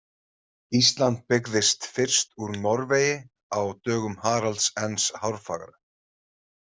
Ísland byggðist fyrst úr Norvegi á dögum Haralds ens hárfagra.